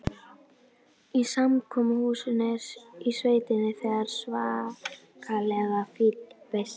Í samkomuhúsinu í sveitinni var svakalega fín veisla.